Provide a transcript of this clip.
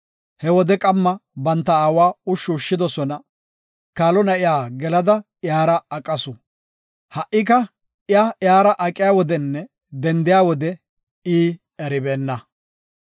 He wode qamma banta aawa ushshu ushshidosona. Kaalo na7iya gelada iyara aqasu. Ha77ika iya iyara aqiya wodenne dendiya wode I eribeenna.